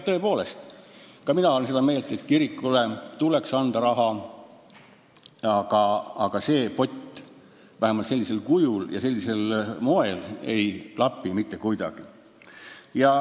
Tõepoolest, ka mina olen seda meelt, et kirikutele tuleks anda raha, aga kogu see pott – vähemalt sellisel kujul ja sellisel moel – ei klapi mitte kuidagi.